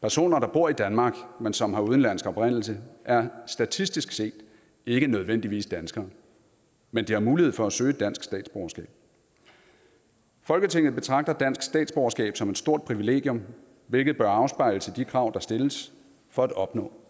personer der bor i danmark men som har udenlandsk oprindelse er statistisk set ikke nødvendigvis danskere men de har mulighed for at søge et dansk statsborgerskab folketinget betragter dansk statsborgerskab som et stort privilegium hvilket bør afspejles i de krav der stilles for at opnå